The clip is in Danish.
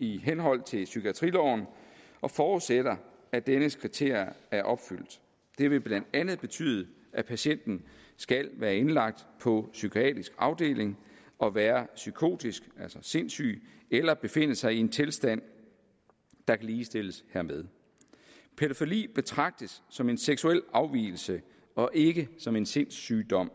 i henhold til psykiatriloven og forudsætter at dens kriterier er opfyldt det vil blandt andet betyde at patienten skal være indlagt på psykiatrisk afdeling og være psykotisk altså sindssyg eller befinde sig i en tilstand der kan ligestilles hermed pædofili betragtes som en seksuel afvigelse og ikke som en sindssygdom